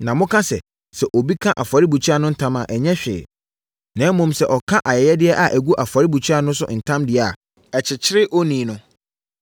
Na moka sɛ, ‘Sɛ obi ka afɔrebukyia no ntam a, ɛnyɛ hwee. Na mmom, sɛ ɔka ayɛyɛdeɛ a ɛgu afɔrebukyia no so ntam deɛ a, ɛkyekyere onii no’